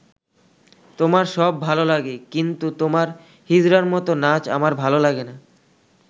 তোমার সব ভালো লাগে, কিন্তু তোমার হিজড়ার মতো নাচ আমার ভালো লাগে না'।